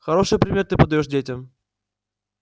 хороший пример ты подаёшь детям